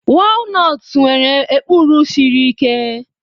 Walnutst nwere ekpuru siri ike.